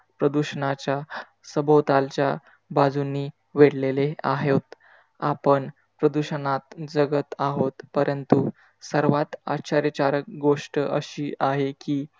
प्रदूषणाच्या सभोतालच्या बाजूनी वेधेलेले आहे होत. आपण प्रदूषणात जगत आहोत, परंतु सर्वात आश्चर्यकारक गोष्ट अशी आहे कि,